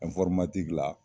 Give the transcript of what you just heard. la